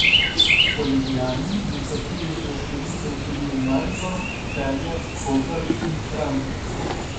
Po Ljubljani načrtujejo širitev tudi v Maribor, Celje, Koper in Kranj.